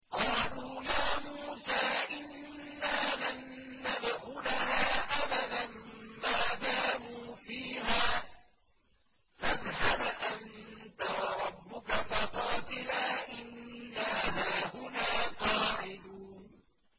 قَالُوا يَا مُوسَىٰ إِنَّا لَن نَّدْخُلَهَا أَبَدًا مَّا دَامُوا فِيهَا ۖ فَاذْهَبْ أَنتَ وَرَبُّكَ فَقَاتِلَا إِنَّا هَاهُنَا قَاعِدُونَ